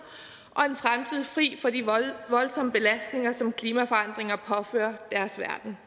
og en fremtidig fri for de voldsomme belastninger som klimaforandringer påfører deres verden